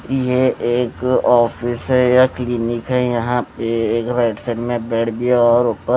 ये एक ऑफिस है या क्लीनिक है यहां पे एक राइट साइड में पेड़ भी है और ऊपर--